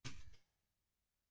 Verður hann klár fyrir England?